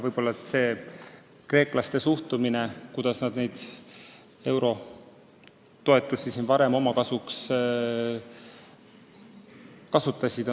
Võib-olla on põhjus kreeklaste suhtumises ja selles, kuidas nad eurotoetusi varem kasutasid.